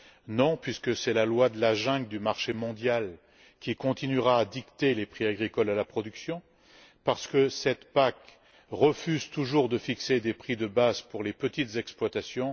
Non, puisque c'est la loi de la jungle du marché mondial qui continuera à dicter les prix agricoles à la production, étant donné que cette PAC refuse toujours de fixer des prix de base pour les petites exploitations.